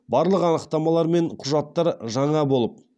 барлық анықтамалар мен құжаттар жаңа болып